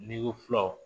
N'i ko fulaw